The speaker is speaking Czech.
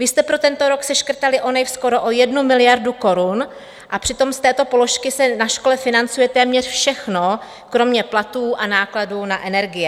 Vy jste pro tento rok seškrtali v ONIV skoro o 1 miliardu korun, a přitom z této položky se na škole financuje téměř všechno kromě platů a nákladů na energie.